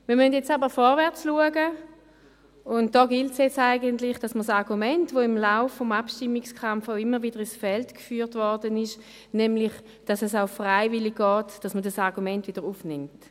Wir müssen aber vorwärtsschauen und da gilt es jetzt eigentlich, dass man das Argument, das im Lauf des Abstimmungskampfs immer wieder ins Feld geführt wurde, nämlich, dass es auch freiwillig geht, dass man dieses Argument wieder aufnimmt.